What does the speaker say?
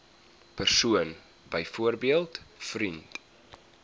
persoon byvoorbeeld vriend